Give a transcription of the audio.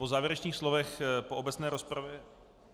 Po závěrečných slovech po obecné rozpravě...